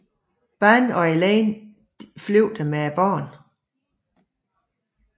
Ban og Elaine flygtede med barnet